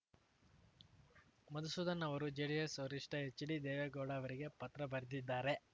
ಮಧುಸೂದನ್‌ ಅವರು ಜೆಡಿಎಸ್‌ ವರಿಷ್ಠ ಎಚ್‌ಡಿ ದೇವೇಗೌಡ ಅವರಿಗೆ ಪತ್ರ ಬರೆದಿದ್ದಾರೆ